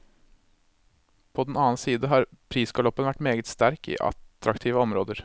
På den annen side har prisgaloppen vært meget sterk i attraktive områder.